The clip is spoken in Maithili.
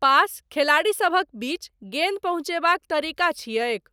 पास, खेलाड़ीसभक बीच, गेन्द पहुञ्चयबाक तरीका छियैक।